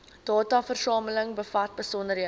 dataversameling bevat besonderhede